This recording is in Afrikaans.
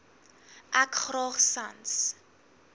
ek graag sans